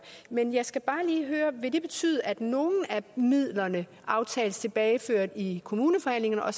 men jeg skal bare lige høre vil det betyde at nogle af midlerne aftales tilbageført i kommuneforhandlingerne og at